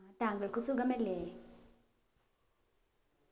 ആ താങ്കൾക്ക് സുഖമല്ലേ